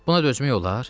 Buna dözmək olar?